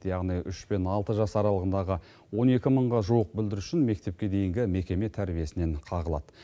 яғни үш пен алты жас аралығындағы он екі мыңға жуық бүлдіршін мектепке дейінгі мекеме тәрбиесінен қағылады